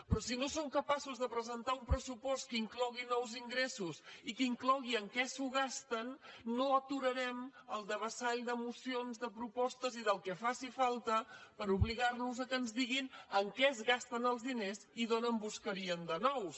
però si no som capaços de presentar un pressupost que inclogui els ingressos i que inclogui en què s’ho gasten no aturarem el devessall d’emocions de propostes i del que faci falta per obligar los que ens diguin en què es gasten els diners i d’on en buscarien de nous